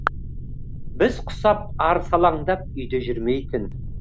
біз құсап арсалаңдап үйде жүрмейтін